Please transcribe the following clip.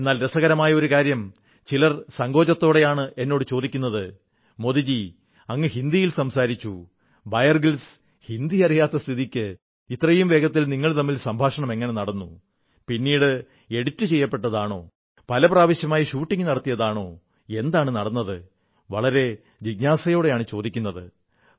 എന്നാൽ രസകരമായ ഒരു കാര്യം ചിലർ സങ്കോചത്തോടെയാണ് എന്നോട് ചോദിക്കുന്നത് മോദിജീ അങ്ങ് ഹിന്ദിയിൽ സംസാരിച്ചു ബയർ ഗ്രിൽസിന് ഹിന്ദി അറിയാത്ത സ്ഥിതിക്ക് ഇത്രയും വേഗത്തിൽ നിങ്ങൾ തമ്മിൽ സംഭാഷണം എങ്ങനെ നടന്നു പിന്നീട് എഡിറ്റ് ചെയ്യപ്പെട്ടതാണോ പല പ്രാവശ്യമായി ഷൂട്ടിംഗ് നടത്തിയതാണോ എന്താണ് നടന്നത് വളരെ ജിജ്ഞാസയോടെയാണ് ചോദിക്കുത്